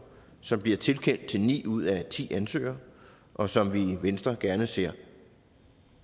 som bliver tilkendt til ni ud af ti ansøgere og som vi i venstre gerne ser